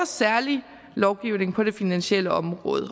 særlig lovgivning på det finansielle område og